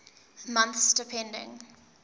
months depending